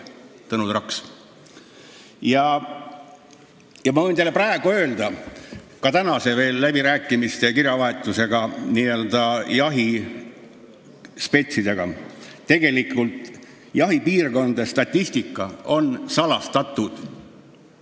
" Ma võin teile öelda ka veel tänaste läbirääkimiste ja kirjavahetuse põhjal jahispetsidega, et tegelikult on jahipiirkondade statistika salastatud.